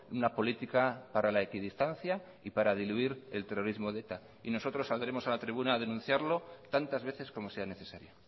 una política para la equidistancia y para diluir el terrorismo de eta y nosotros saldremos a la tribuna a denunciarlo tantas veces como sea necesaria